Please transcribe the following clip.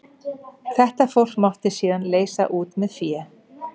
Þetta fólk mátti síðan leysa út með fé.